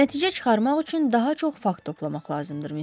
Nəticə çıxarmaq üçün daha çox fakt toplamaq lazımdır, Mister Mak.